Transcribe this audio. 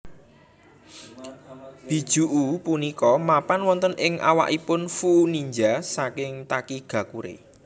Bijuu punika mapan wonten ing awakipun Fuu ninja saking Takigakure